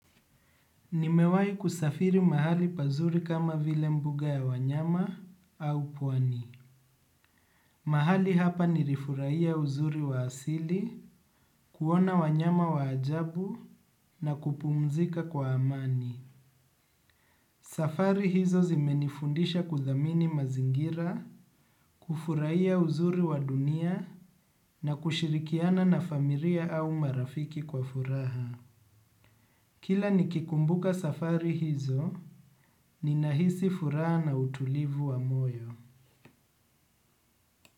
Nimewahi kusafiri mahali pazuri kama vile mbuga ya wanyama au pwani. Mahali hapa nirifurahia uzuri wa asili, kuona wanyama wa ajabu na kupumzika kwa amani. Safari hizo zimenifundisha kuthamini mazingira, kufurahia uzuri wa dunia na kushirikiana na famiria au marafiki kwa furaha. Kila nikikumbuka safari hizo, ninahisi furaha na utulivu wa moyo.